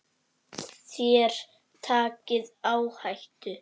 Þér takið áhættu.